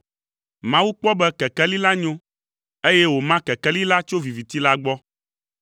Mawu kpɔ be kekeli la nyo, eye wòma kekeli la tso viviti la gbɔ.